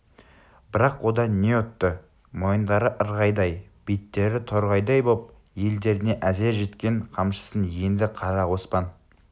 бірақ одан не ұтты мойындары ырғайдай биттері торғайдай боп елдеріне әзер жеткен қамшысын енді қара оспан